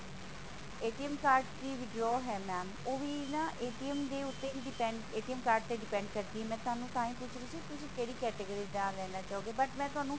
card ਦੀ withdraw ਹੈ mam ਉਹ ਵੀ ਨਾ ਦੇ ਉੱਤੇ ਹੀ depend card ਤੇ depend ਕਰਦੀ ਹੈ ਮੈਂ ਤੁਹਾਨੂੰ ਤਾਹਿ ਪੁੱਛ ਰਹੀ ਸੀ ਕਿ ਤੁਸੀ ਕਿਹੜੀ category ਦਾ ਲੈਣਾ ਚਾਹੋਗੇ but ਮੈਂ ਤੁਹਾਨੂੰ